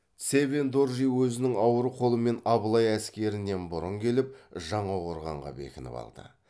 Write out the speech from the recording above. цевен доржи өзінің ауыр қолымен абылай әскерінен бұрын келіп жаңақорғанға бекініп алды